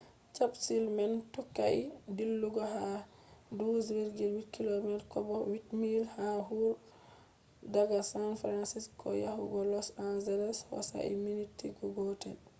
capsule man tokkai dillugo ha 12.8km kobo 8 miles ha hour daga san francisco yahugo los angelos hosai minti gootel